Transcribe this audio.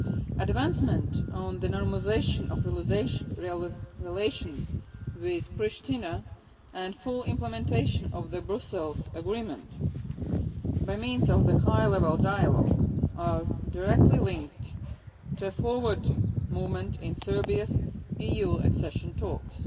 Advancement on the normalisation of relations with Pristina and full implementation of the Brussels Agreement, by means of the High Level Dialogue, are directly linked to forward movement in Serbia's EU accession talks.